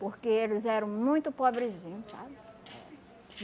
Porque eles eram muito pobrezinho, sabe?